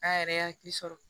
K'a yɛrɛ hakili sɔrɔ